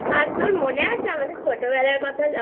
আর তোর মনে আছে ছোটবেলার কথা?